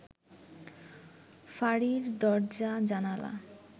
ফাঁড়ির দরজা- জানালা